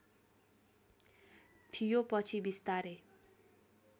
थियो पछि विस्तारै